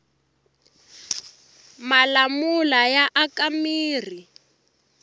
malamula ya aka mirhi